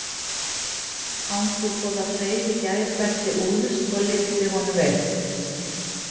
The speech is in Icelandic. Angurboða þreif í gæruvesti Úlfs og lyfti honum upp.